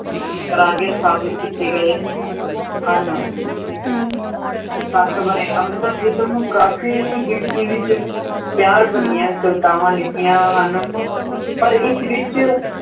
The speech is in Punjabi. ਸਥਾਪਤ ਕੀਤੇ ਗਏ ਹਨ ਸੱਤ ਵਰੇ, ਅੰਮ੍ਰਿਤਾ ਪ੍ਰੀਤਮ ਨੂੰ ਕਾਫ਼ੀ ਗਿਣਤੀ ਵਿੱਚ ਪਿਆਰ ਭਰੀਆਂ ਕਵਿਤਾਵਾਂ ਲਿਖੀਆਂ ਹਨ, ਪਰ ਇਸ ਵਿੱਚ